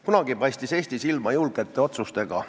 Kunagi paistis Eesti silma julgete otsustega.